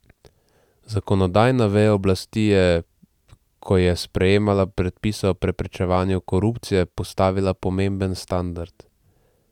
Zakonodajna veja oblasti je, ko je sprejemala predpise o preprečevanju korupcije, postavila pomemben standard.